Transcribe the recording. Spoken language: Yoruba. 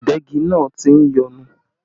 Ìdegi náà tí ń yọnu